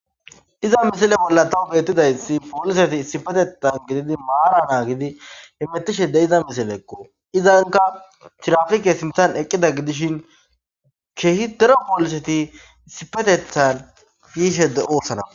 iza misile bolla tawu beettidayssi pooliseti isipetetan gididi maara naa gidi hemettishide iza misile ekko izanka thirafike sintan eqqida gidishin kehi dero pooliseti isipetethan yiishe de'oossana